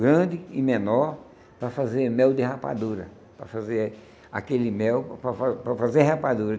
grande e menor para fazer mel de rapadura, para fazer aquele mel, para fazer para fazer rapadura.